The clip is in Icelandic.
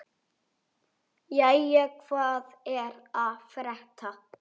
Jæja, hvað er að frétta?